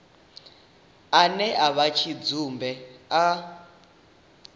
ane a vha tshidzumbe a